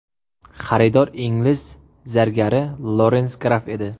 Xaridor ingliz zargari Lorens Graff edi.